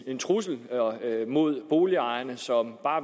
trussel mod boligejerne som